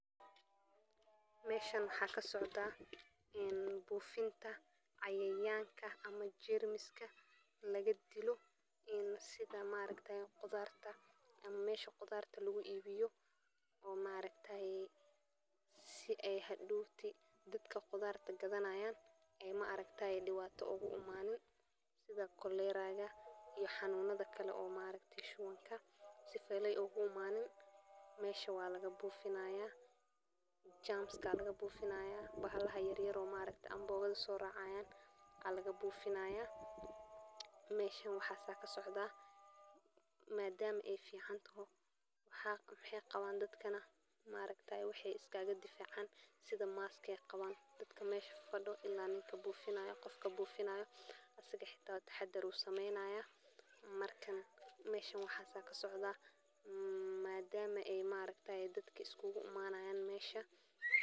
Waxaan ku iibgareynaa khudaarta aan ku kasbanayo beeraha qoyskayga oo aan ku korinayo carro, canno, muus, liin, cambuulo, iyo tufaax, waxaana si fiican u daryeelaa sidii ay u korin lahaayeen si ay u noqdaan mid cunto leh oo nafaqo badan, waxaan ku iibgareynaa suuqa hoose ee magaalada, suuqa weyn, iyo xitaa internetka adigoo aad ka heli kartaa alaabtayda si fudud oo aan macaash lahayn, waxaan si joogto ah u diyaariyaa khudaarta cusub oo cagaaran oo aan ka keeno beeraha quruxda badan ee gobolka, waxaan kaloo bixiyaa qiimo jaarka ah oo ka fiican suuqa oo dhan.